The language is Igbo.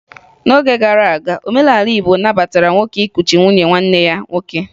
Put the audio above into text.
N'oge gara aga, omenala Igbo nabatara nwoke ịkụchi nwunye nwanne ya nwoke